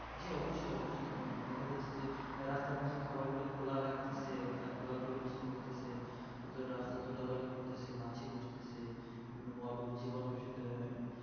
জি অবশ্যই অবশ্যই কেননা দেখা যাচ্ছে যে রাস্তার ধরে খাবার গুলো খোলা রাখতেসে এবং তার খোলা পরিবেশি করতেসে এর ফলে রাস্তার ধুলো বালি পড়তেসে মাছি বসতেসে মড়ক জীবাণু এর সাথে